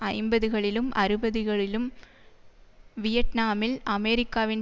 ஐம்பதுகளிலும் அறுபதுகளிலும் வியட்நாமில் அமெரிக்காவின்